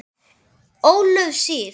Ólöf Sif.